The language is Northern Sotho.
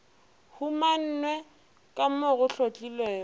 humane ka mo go hlotlilwego